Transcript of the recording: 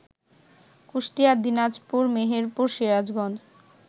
Kushtia, Dinajpur, Meherpur, Sirajganj